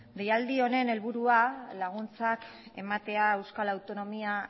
deialdi honen helburua laguntzak ematea euskal autonomia